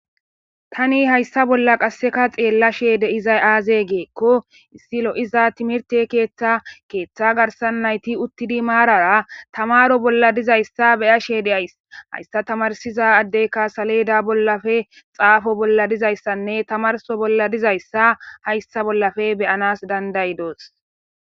Tani hayssa bolla qasseka xeellashe de izay aaze geekko issi lo7iza timirte keeththa keeththa garsan nayti uttidi maarara tamaro bolla dizayssa beyashe de7ays hayssa tamarsiza addeyka saleda bollafe xaafo bolla dizayssanne tamarso bolla dizayssa hayssa bollafe beyanas dandayidoos.